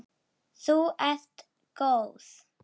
Þú ert góð!